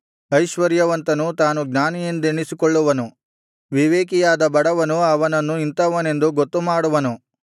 ಐಶ್ವರ್ಯವಂತನು ತಾನು ಜ್ಞಾನಿಯೆಂದೆಣಿಸಿಕೊಳ್ಳುವನು ವಿವೇಕಿಯಾದ ಬಡವನು ಅವನನ್ನು ಇಂಥವನೆಂದು ಗೊತ್ತುಮಾಡುವನು